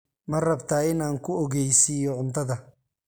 Ma rabtaa in aan ku ogeysiiyo cuntada?